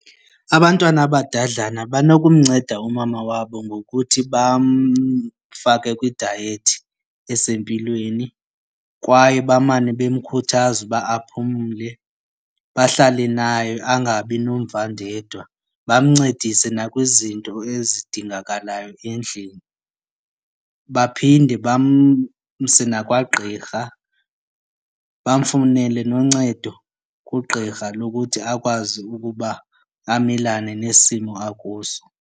Abantwana abadadlana banokumnceda umama wabo ngokuthi bamfake kwidayethi esempilweni kwaye bamane bemkhuthaza uba aphumle, bahlale naye angabi nomvandedwa. Bamncedise nakwizinto ezidingakalayo endlini, baphinde bamse nakwagqirha, bamfunele noncedo kugqirha lokuthi akwazi ukuba amelane nesimo akuso.